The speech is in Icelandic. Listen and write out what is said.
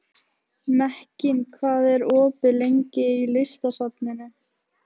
Mekkin, hvað er opið lengi í Listasafninu?